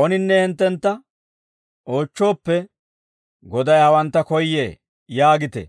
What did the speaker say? Ooninne hinttentta oochchooppe, ‹Goday hawantta koyyee› yaagite;